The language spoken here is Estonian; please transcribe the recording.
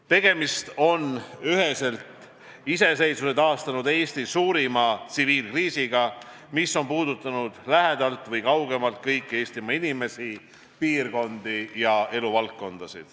Üheselt on tegemist iseseisvuse taastanud Eesti suurima tsiviilkriisiga, mis on puudutanud lähedalt või kaugemalt kõiki Eestimaa inimesi, piirkondi ja eluvaldkondi.